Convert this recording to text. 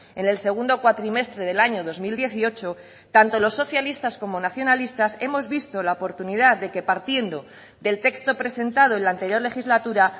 en el segundo cuatrimestre del año dos mil dieciocho tanto los socialistas como nacionalistas hemos visto la oportunidad de que partiendo del texto presentado en la anterior legislatura